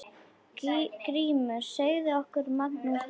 GRÍMUR: Segðu okkur, Magnús minn!